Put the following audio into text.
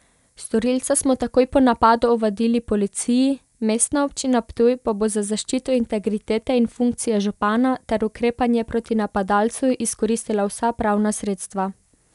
Storilca smo takoj po napadu ovadili policiji, Mestna občina Ptuj pa bo za zaščito integritete in funkcije župana ter ukrepanje proti napadalcu izkoristila vsa pravna sredstva.